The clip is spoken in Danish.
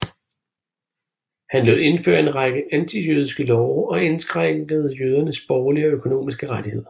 Han lod indføre en række antijødiske love og indskrænkede jødernes borgerlige og økonomiske rettigheder